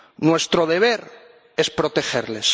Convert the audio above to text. Nuestro deber es protegerles.